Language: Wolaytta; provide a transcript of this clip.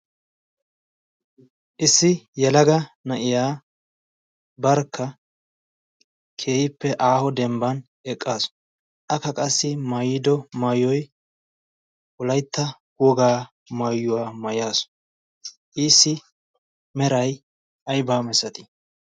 issi yalaga na'iya barkka keehippe aaho dembban eqqaasu akka qassi maayido maayoy wolaytta wogaa maayuwaa maayaasu issi meray ay baamissatii